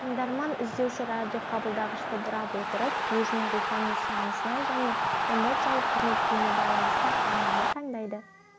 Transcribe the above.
тыңдарман-іздеуші радиоқабылдағышты бұрап отырып өзінің рухани сұранысына және эмоциялық көңіл-күйіне байланысты арнаны таңдайды